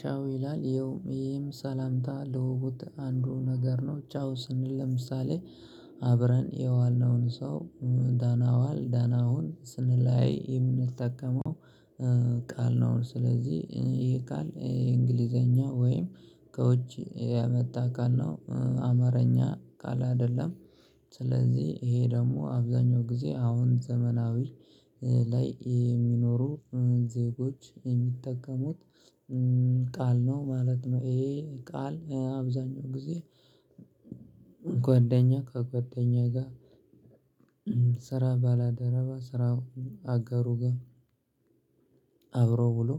ቻው ይላል። ይሄም ሰላምታ ልውውጥት አንዱ ነገር ነው ቻው ስንል ለምሳሌ አብረን የዋልነውን ሰው ደና ዋል ደና ሁን ስንለያይ የምንጠቀመው ቃል ነው። ስለዚህ ይሄ ቃል የእንግሊዘኛ ወይም ከውጭ የመጣ ቃል ነው አማርኛ ቃል አይደለም። ስለዚህ ይሄ ደግሞ አብዛኛው ጊዜ አሁን ዘመናዊ ላይ የሚኖሩ ዜጎች የሚጠቀሙት ቃል ነው ማለት ነው። ይሄ ቃል አብዛኛውን ጊዜ ጎደኛ ከጎደኛ ጋር ስራ ባላደረባ ስራውን አጋሩ ጋር አብሮ ውሎ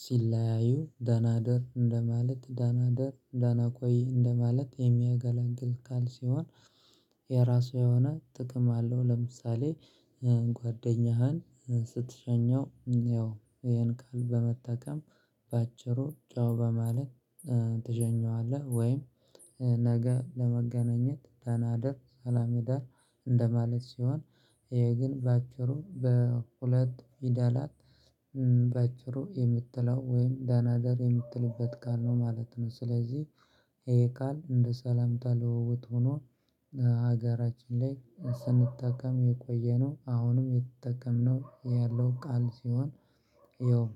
ሲለያዩ ደና እደር እንደማለት ደና እደር ደና ቆይ እንደማለት የሚያገላግል ቃል ሲሆን። የራሷ የሆነ ጥቅም አለው ለምሳሌ ጓደኛህን ስትሸኘው ይሄን ቃል በመጠቀም በአጭሩ ቻው በማለት ትሸኘዋለህ። ወይም ነገ ለመገናኘት ደና እደር ሰላም እደር እንደማለት ሲሆን ይሄ ግን በአጭሩ በሁለት ፊደላት የምትለው ወይም ደና እደር የምትልበት ቃል ነው ማለት ነው። ስለዚህ ይሄ ቃል እንደ ሰላምታ ልውውጥ ሆኖ ሀገራችን ላይ ስንጠቀም የቆየነው አሁንም የተጠቀምነው ያለው ቃል ሲሆን። ይኸው